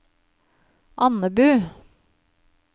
Andebu